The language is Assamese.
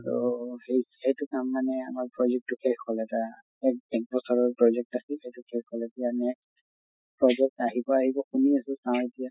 তʼ সেইটো সেইটো কাম মানে আমাৰ project টো শেষ হʼল এটা এক এক বছৰৰ project আছিল, এইটো শেষ হʼলেতো আমি পাছত আহিব আহিব শুনি আছো, নাহে এতিয়া।